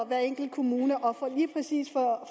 hver enkelt kommune